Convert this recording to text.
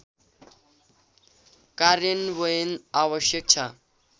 कार्यान्वयन आवश्यक छ